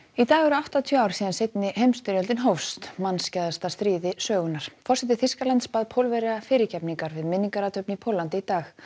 í dag eru áttatíu ár síðan seinni heimsstyrjöldin hófst stríð sögunnar forseti Þýskalands bað Pólverja fyrirgefningar við minningarathöfn í Póllandi í dag